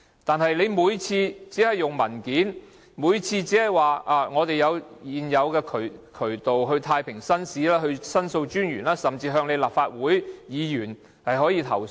可是，它們每次也只以文件答覆，每次也是說現已有渠道，例如可向太平紳士、申訴專員或立法會議員投訴。